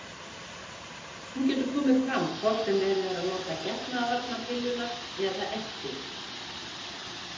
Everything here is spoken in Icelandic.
Hún getur komið fram hvort sem verið er að nota getnaðarvarnarpilluna eða ekki.